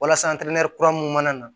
Walasa kura minnu mana na